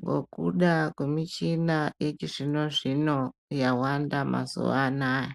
ngekuda kwemichina yechizvino zvino yawanda mazuwa anaya.